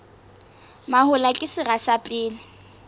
mahola ke sera sa pele